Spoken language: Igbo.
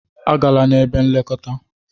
A gala n'ebe nlekọta!